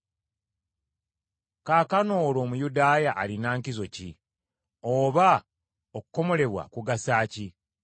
Kaakano olwo Omuyudaaya alina nkizo ki? Oba okukomolebwa kugasa ki?